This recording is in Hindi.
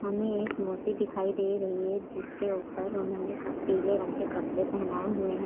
हमें एक मूर्ति दिखाई दे रही है जिसके ऊपर उन्होंने क पीले रंग के कपड़े पहनाए हुए हैं।